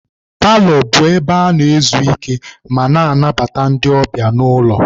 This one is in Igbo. Paalọ bụ ebe a na-ezu ike ma na-anabata ndị ọbịa n'ụlọ.